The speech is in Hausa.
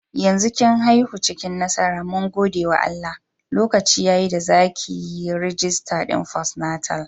Yanzu kin aifu cikin nasara mun gode wa Allah, lokaci yayi da zakayi rijistar din fostnatal